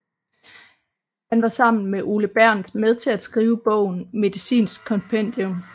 Han var sammen med Ole Bernth med til at skrive bogen Medicinsk Kompendium